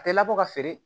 A tɛ labɔ ka feere